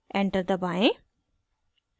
enter दबाएं